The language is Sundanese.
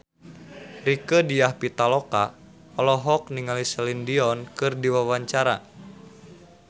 Rieke Diah Pitaloka olohok ningali Celine Dion keur diwawancara